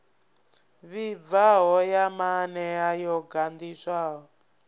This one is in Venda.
vhibvaho ya maanea yo ganḓiswaho